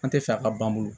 An tɛ fɛ a ka ban